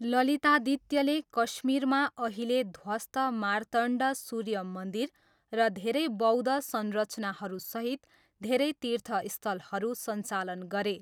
ललितादित्यले कश्मीरमा अहिले ध्वस्त मार्तण्ड सूर्य मन्दिर र धेरै बौद्ध संरचनाहरूसहित धेरै तीर्थस्थलहरू सञ्चालन गरे।